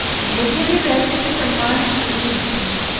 मुझे भी वैसे ही सम्मान की उम्मीद थी